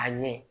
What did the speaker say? A ɲɛ